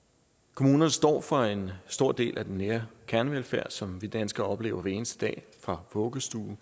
kommunerne står for en stor del af den nære kernevelfærd som vi danskere oplever hver eneste dag fra vuggestuen